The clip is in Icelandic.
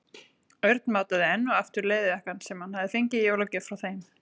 Örn mátaði enn og aftur leðurjakkann sem hann hafði fengið í jólagjöf frá þeim.